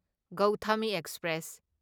Gautami express